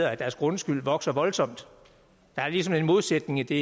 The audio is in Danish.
at deres grundskyld vokser voldsomt der er ligesom en modsætning i det